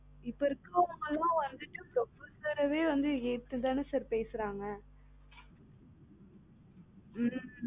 இப்ப இருக்குறவங்களாம் வந்துட்டு professor ரையே வந்துட்டு ஏத்துதான் sir பேசுறாங்க